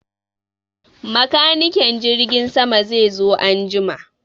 Makanikin jirgin sama zai zo an jima.